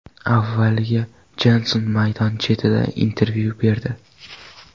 Avvaliga Jenson maydon chetida intervyu berdi.